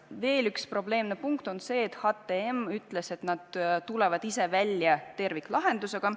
Veel üks probleemne punkt on see, et HTM ütles, et nad tulevad ise välja terviklahendusega.